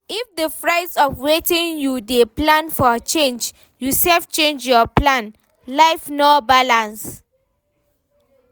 If di price of wetin you dey plan for change, you sef change your plan, life no balance